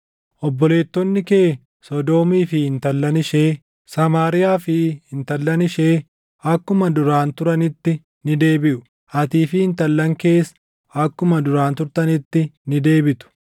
Obboleettonni kee Sodoomii fi intallan ishee, Samaariyaa fi intallan ishee akkuma duraan turanitti ni deebiʼu; atii fi intallan kees akkuma duraan turtanitti ni deebitu.